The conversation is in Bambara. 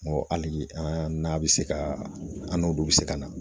N go hali an n'a bɛ se ka an n'olu bɛ se ka na